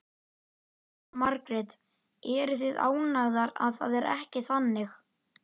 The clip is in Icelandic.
Jóhanna Margrét: Eruð þið ánægðar að það er ekki þannig?